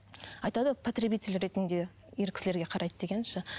айтады ғой потребитель ретінде ер кісілерге қарайды дегенім ше